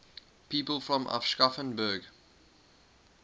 people from aschaffenburg